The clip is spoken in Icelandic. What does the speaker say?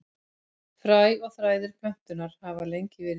Fræ og þræðir plöntunnar hafa lengi verið nýtt.